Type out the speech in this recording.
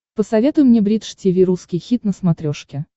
посоветуй мне бридж тиви русский хит на смотрешке